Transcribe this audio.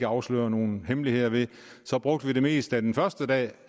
afslører nogen hemmeligheder ved brugte vi det meste af den første dag